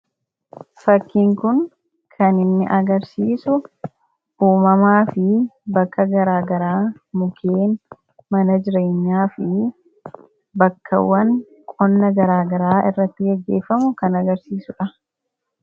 Fakkiin kun kan inni agarsiisu uumamaa fi bakka garaa garaa, mukkeen, mana jireenyaa fi bakkawwan qonna garaa garaa irratti gaggeeffamu kan agarsiisudha.